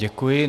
Děkuji.